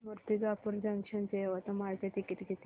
Murtijapur junction ते यवतमाळ चे ticket किती